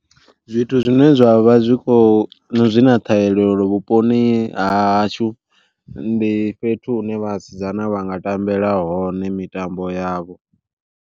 Zwithu zwine zwavha zwi kho zwi na ṱhahelelo vhuponi ha hashu ndi fhethu hune vhasidzana vha nga tambela hone mitambo yavho.